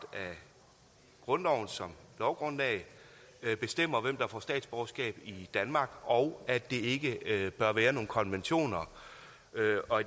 af grundloven som lovgrundlag bestemmer hvem der får statsborgerskab i danmark og at det ikke bør være nogle konventioner